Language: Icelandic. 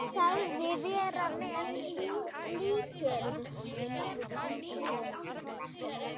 Sagðist vera með lykil.